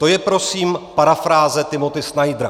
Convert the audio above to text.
To je prosím parafráze Timothy Snydera.